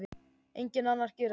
Enginn annar gerir það.